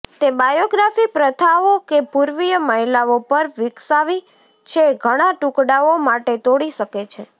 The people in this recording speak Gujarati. તે બાયોગ્રાફી પ્રથાઓ કે પૂર્વીય મહિલાઓ પર વિકસાવી છે ઘણા ટુકડાઓ માટે તોડી શકે છે